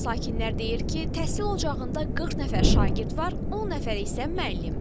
Sakinlər deyir ki, təhsil ocağında 40 nəfər şagird var, 10 nəfər isə müəllim.